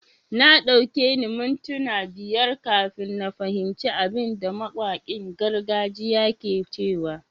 Na dauki ni mintuna biyar kafin na fahimci abin da mawakin gargajiya ke cewa.